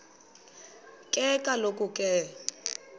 ke kaloku ke